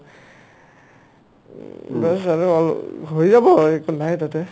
উম, হৈ যাব নাই একো তাতে